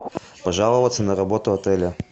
пожаловаться на работу отеля